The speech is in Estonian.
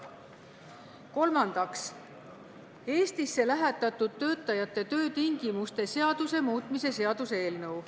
Kolmandaks, Eestisse lähetatud töötajate töötingimuste seaduse muutmise seaduse eelnõu.